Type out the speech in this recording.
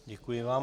Děkuji vám.